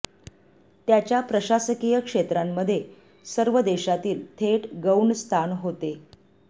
त्याच्या प्रशासकीय क्षेत्रांमध्ये सर्व देशातील थेट गौण स्थान होते